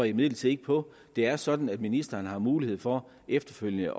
imidlertid ikke på det er sådan at ministeren har mulighed for efterfølgende